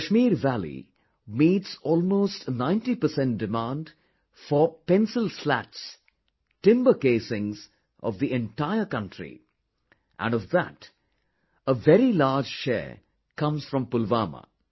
The Kashmir Valley meets almost 90% demand for the Pencil Slats, timber casings of the entire country, and of that, a very large share comes from Pulwama